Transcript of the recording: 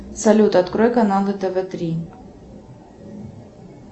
салют открой каналы тв три